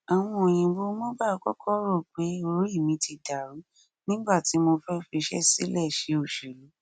àwọn òyìnbó mobile kọkọ rò pé orí mi ti dàrú ni nígbà tí mo fẹ fiṣẹ sílẹ ṣe òṣèlú